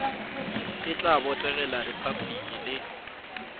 e tla botegela repabliki le